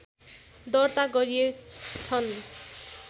दर्ता गरिए छन्